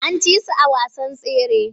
An ci su a wasan tsere.